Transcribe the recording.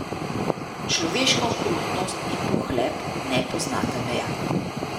Človeška okrutnost in pohlep ne poznata meja.